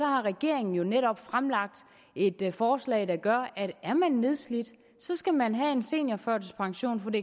har regeringen jo netop fremlagt et forslag der gør at er man nedslidt skal man have en seniorførtidspension for det